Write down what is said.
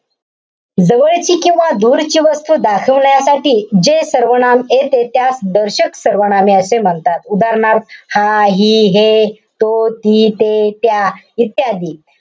जवळची किंवा दूरची वस्तू दाखवण्यासाठी जे सर्वनाम येते, त्यास दर्शक सर्वनाम असे म्हणतात. उदाहरणार्थ हा, हि, हे, तो, ती, ते, त्या इत्यादी.